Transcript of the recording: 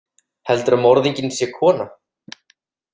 Heldurðu að morðinginn sé kona?